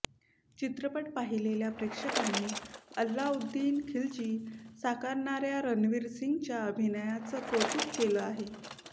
चित्रपट पाहिलेल्या प्रेक्षकांनी अल्लाउद्दीन खिल्जी साकारणाऱ्या रणवीर सिंगच्या अभिनयाचं कौतुक केलं आहे